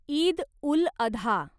Eid ul Adha